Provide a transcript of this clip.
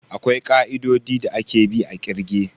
Akwai ka'idodi da ake bi a kirge.